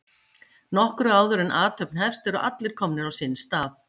Nokkru áður en athöfn hefst eru allir komnir á sinn stað.